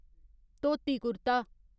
dhoti kurta